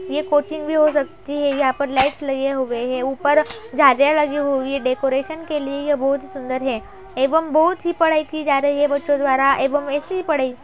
ये कोचिंग भी हो सकती है यहां पर लाइट लगे हुए है | ऊपर झालर लगी हुई डेकोरेशन के लिए यह बहुत सुंदर है एवं बहुत ही पढ़ाई की जा रही है बच्चों द्वारा एवं इसी पढ़ाई --